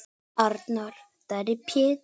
Arnar Darri Péturs.